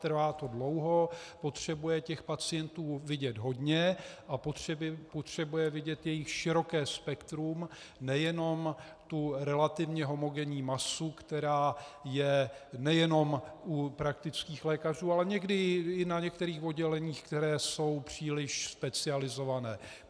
Trvá to dlouho, potřebuje těch pacientů vidět hodně a potřebuje vidět jejich široké spektrum, nejenom tu relativně homogenní masu, která je nejenom u praktických lékařů, ale někdy i na některých odděleních, která jsou příliš specializovaná.